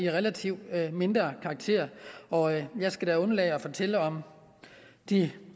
relativt mindre karakter og jeg skal da undlade at fortælle om de